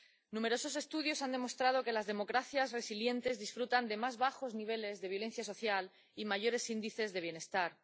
Numerosos estudios han demostrado que las democracias resilientes disfrutan de más bajos niveles de violencia social y mayores índices de bienestar.